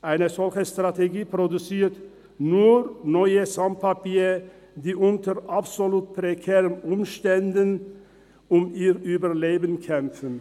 Eine solche Strategie produziert nur neue Sans Papiers, die unter absolut prekären Umständen um ihr Überleben kämpfen.